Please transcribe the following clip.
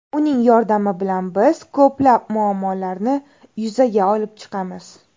Uning yordami bilan biz ko‘plab muammolarni yuzaga olib chiqamiz.